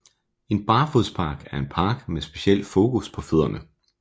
En barfodspark er en park med speciel fokus på fødderne